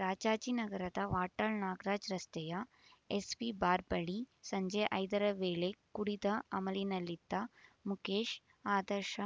ರಾಜಾಜಿನಗರದ ವಾಟಾಳ್ ನಾಗರಾಜ್ ರಸ್ತೆಯ SV bar ಬಳಿ ಸಂಜೆ ಐದರ ವೇಳೆ ಕುಡಿದ ಅಮಲಿನಲ್ಲಿದ್ದ ಮುಕೇಶ್ ಆದರ್ಶ